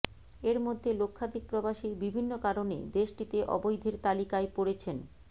এর মধ্যে লক্ষাধিক প্রবাসী বিভিন্ন কারণে দেশটিতে অবৈধের তালিকায় পড়েছেন